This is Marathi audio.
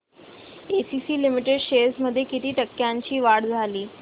एसीसी लिमिटेड शेअर्स मध्ये किती टक्क्यांची वाढ झाली